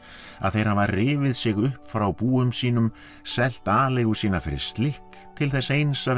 að þeir hafa rifið sig upp frá búum sínum selt aleigu sína fyrir slikk til þess eins að vera